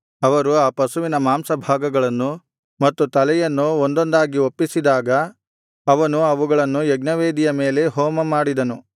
ಅವರು ಆ ಪಶುವಿನ ಮಾಂಸಭಾಗಗಳನ್ನು ಮತ್ತು ತಲೆಯನ್ನು ಒಂದೊಂದಾಗಿ ಒಪ್ಪಿಸಿದಾಗ ಅವನು ಅವುಗಳನ್ನು ಯಜ್ಞವೇದಿಯ ಮೇಲೆ ಹೋಮಮಾಡಿದನು